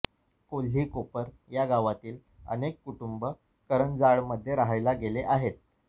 कोल्ही कोपर या गावातील अनेक कुटुंब करंजाडेमध्ये राहायला गेले आहेत